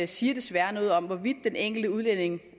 siger desværre noget om hvorvidt den enkelte udlænding